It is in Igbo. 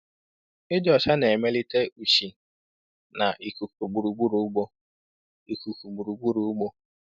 Ịdị ọcha na-emelite ushi na ikuku gburugburu ugbo. ikuku gburugburu ugbo.